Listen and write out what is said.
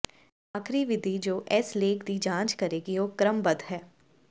ਆਖ਼ਰੀ ਵਿਧੀ ਜੋ ਇਸ ਲੇਖ ਦੀ ਜਾਂਚ ਕਰੇਗੀ ਉਹ ਕ੍ਰਮਬੱਧ ਹੈ